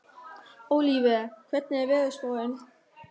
Ólíver, hvernig er veðurspáin?